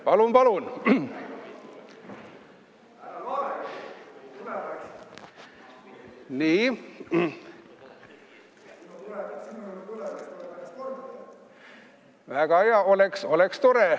Palun, palun!